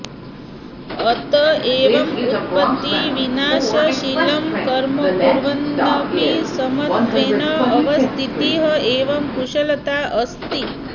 अत एव उत्पत्तिविनाशशीलं कर्म कुर्वन्नपि समत्वेन अवस्थितिः एव कुशलता अस्ति